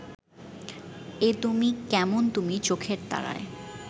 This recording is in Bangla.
এ তুমি কেমন তুমি চোখের তারায়